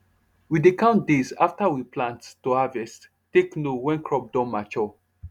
we dey count days after we plant to harvest take know when crop don mature